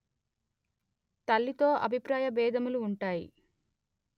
తల్లితో అభిప్రాయ బేధములు ఉంటాయి